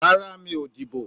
Rárá, mi ò dìbò